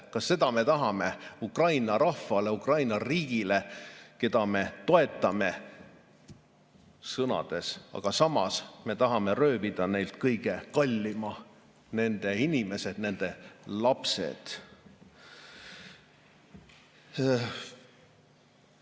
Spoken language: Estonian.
Kas seda me tahame Ukraina rahvale, Ukraina riigile, keda me toetame sõnades, aga samas tahame röövida neilt kõige kallima – nende inimesed, nende lapsed?